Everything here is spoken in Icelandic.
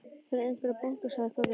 Það er einhver að banka, sagði pabbi.